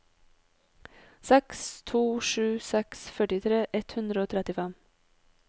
seks to sju seks førtitre ett hundre og trettifem